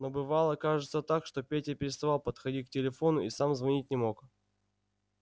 но бывало кажется так что петя переставал подходить к телефону и сам звонить не мог